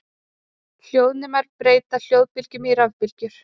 Hljóðnemar breyta hljóðbylgjum í rafbylgjur.